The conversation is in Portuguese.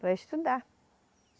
Para estudar.